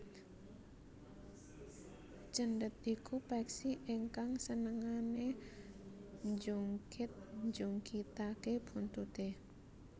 Cendet iku peksi ingkang senengane njungkit njungkitake buntute